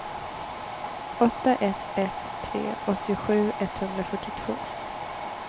åtta ett ett tre åttiosju etthundrafyrtiotvå